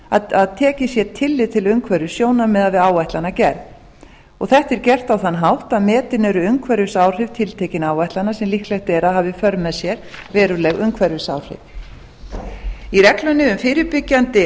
að tekið sé tillit til umhverfissjónarmiða við áætlanagerð þetta er gert á þann hátt að metin eru umhverfisáhrif tiltekinna áætlana sem líklegt er að hafi í för með sér veruleg áhrif í reglunni um fyrirbyggjandi